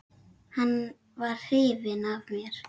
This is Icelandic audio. Hann var hrifinn af mér.